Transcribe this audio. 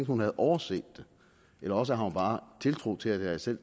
hun havde overset det eller også har hun bare tiltro til at jeg selv